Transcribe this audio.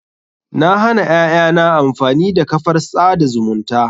Na hana ƴaƴana amfani da kafar tsada zumunta.